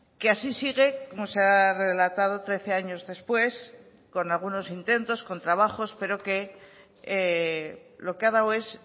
que así sigue como se ha relatado trece años después con algunos intentos con trabajos pero que lo que ha dado es